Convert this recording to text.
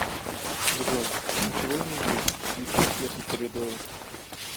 джой ничего не вижу включи свет в коридоре